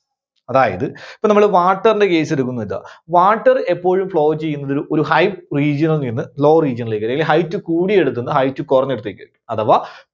അതായത് ഇപ്പോൾ നമ്മള് water ന്റെ case എടുക്കുന്നു എന്ന് വെക്കുക. water എപ്പോഴും flow ചെയ്യുന്നതൊരു, ഒരു high region ൽ നിന്ന് low region ലേക്ക് അല്ലെങ്കിൽ height കൂടിയടത്തുനിന്ന് height കുറഞ്ഞ ഇടത്തേക്ക് അഥവാ